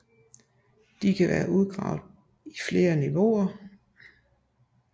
De kan være udgravet i flere niveauer